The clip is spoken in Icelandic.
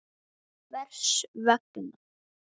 HVERS VEGNA?